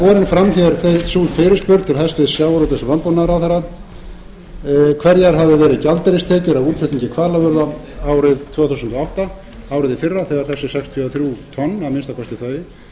er borin fram sú fyrirspurn til hæstvirts sjávarútvegs og landbúnaðarráðherra hverjar hafi verið gjaldeyristekjur af útflutningi hvalafurða árið tvö þúsund og átta árið í fyrra þegar þessi sextíu og þrjú tonn að minnsta kosti þau